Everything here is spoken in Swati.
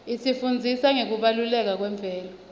isifundzisa ngekubaluleka kwemvelo